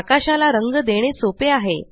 आकाशाला रंग देणे सोपे आहे